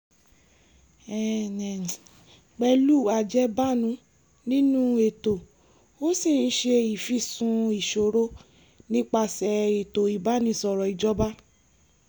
pẹ̀lú ajẹ́bánu nínú ètò ó ṣì ń ṣe ìfìsùn ìṣòro nípasẹ̀ ètò ìbánisọ̀rọ̀ ìjọba